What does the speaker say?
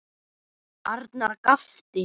Arnar gapti.